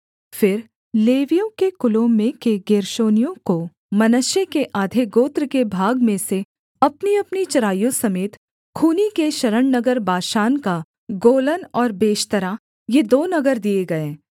फिर लेवियों के कुलों में के गेर्शोनियों को मनश्शे के आधे गोत्र के भाग में से अपनीअपनी चराइयों समेत खूनी के शरणनगर बाशान का गोलन और बेशतरा ये दो नगर दिए गए